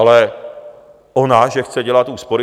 Ale ona že chce dělat úspory?